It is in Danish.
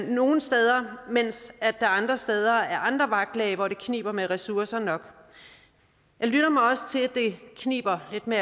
nogle steder mens der andre steder er andre vagtlag hvor det kniber med ressourcer nok jeg lytter mig også til at det kniber lidt med